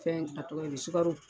Fɛn a tɔgɔ ye di sukaro.